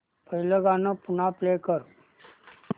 पहिलं गाणं पुन्हा प्ले कर